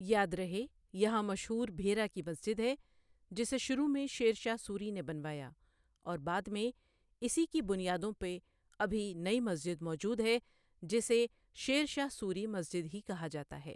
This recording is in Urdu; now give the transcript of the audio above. یاد رہے یہاں مشہور بھیرہ کی مسجد ہے جسے شروع میں شیر شاہ سوری نے بنوایا اور بعد میں اسی کی بنیادوں پہ ابھی نٸ مسجد موجود ہے جسے شیر شاہ سوری مسجد ہی کہا جاتا ہے